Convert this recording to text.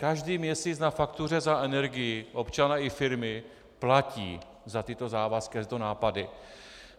Každý měsíc na faktuře za energii občané i firmy platí za tyto závazky a tyto nápady.